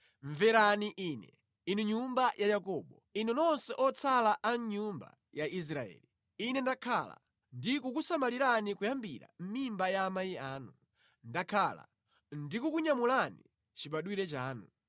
Mverani Ine, Inu nyumba ya Yakobo, inu nonse otsala a mʼnyumba ya Israeli, Ine ndakhala ndi kukusamalirani kuyambira mʼmimba ya amayi anu, ndakhala ndikukunyamulani chibadwire chanu.